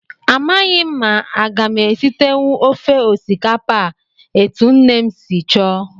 Amaghị m ma aga m esitenwu ofe osikapa a etu nne m si chọọ